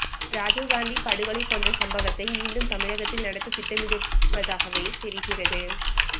ராஜிவ்காந்தி படுகொலை போன்ற சம்பவத்தை மீண்டும் தமிழகத்தில் நடத்த திட்டமிடுவதாகவே தெரிகிறது